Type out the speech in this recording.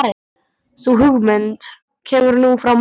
Sú hugmynd kemur nú frá mömmu.